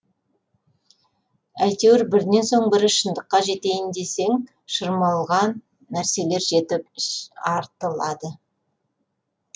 әйтеуір бірінен соң бірі шындыққа жетейін десең шырмалған нәрселер жетіп артылады